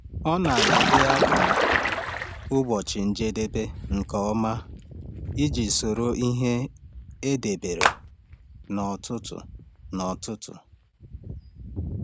Ọ na-ede akara ụbọchị njedebe nke ọma iji soro ihe e debere n’ọtụtù. n’ọtụtù.